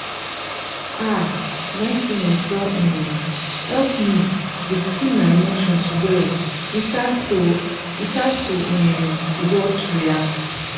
um mindfulness don um help me dey see my emotions well without to without to um react um